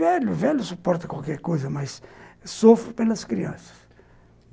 Velho, velho suporta qualquer coisa, mas sofro pelas crianças.